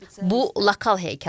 Bu lokal hekayə idi.